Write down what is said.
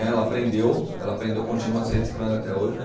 Ela aprendeu, ela aprendeu, continua se reciclando até hoje, né?